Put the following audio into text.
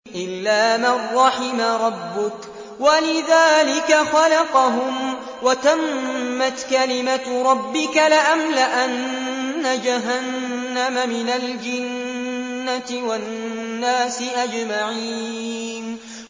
إِلَّا مَن رَّحِمَ رَبُّكَ ۚ وَلِذَٰلِكَ خَلَقَهُمْ ۗ وَتَمَّتْ كَلِمَةُ رَبِّكَ لَأَمْلَأَنَّ جَهَنَّمَ مِنَ الْجِنَّةِ وَالنَّاسِ أَجْمَعِينَ